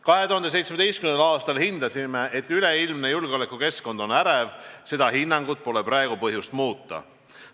2017. aastal hindasime, et üleilmne julgeolekukeskkond on ärev, ja seda hinnangut pole praegu põhjust muuta.